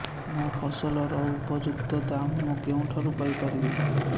ମୋ ଫସଲର ଉପଯୁକ୍ତ ଦାମ୍ ମୁଁ କେଉଁଠାରୁ ପାଇ ପାରିବି